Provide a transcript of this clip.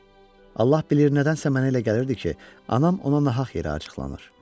Allah bilir nədənsə mənə elə gəlirdi ki, anam ona nahaq yerə acıqlanır.